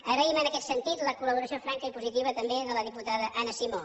agraïm en aquest sentit la col·laboració franca i positiva també de la diputada anna simó